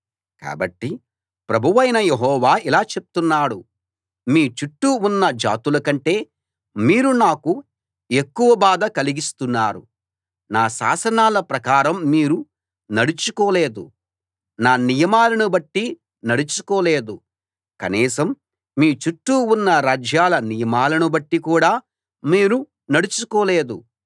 కాబట్టి ప్రభువైన యెహోవా ఇలా చెప్తున్నాడు మీ చుట్టూ ఉన్న జాతుల కంటే మీరు నాకు ఎక్కువ బాధ కలిగిస్తున్నారు నా శాసనాల ప్రకారం మీరు నడుచుకోలేదు నా నియమాలను బట్టి నడుచుకోలేదు కనీసం మీ చుట్టూ ఉన్న రాజ్యాల నియమాలను బట్టి కూడా మీరు నడుచుకోలేదు